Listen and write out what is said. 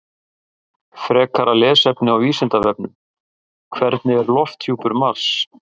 Frekara lesefni á Vísindavefnum: Hvernig er lofthjúpur Mars?